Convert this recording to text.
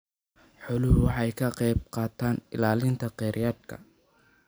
Xooluhu waxay ka qaybqaataan ilaalinta kheyraadka.